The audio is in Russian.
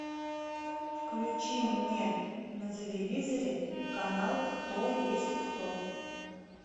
включи мне на телевизоре канал кто есть кто